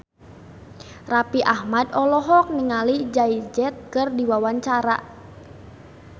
Raffi Ahmad olohok ningali Jay Z keur diwawancara